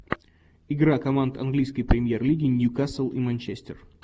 игра команд английской премьер лиги ньюкасл и манчестер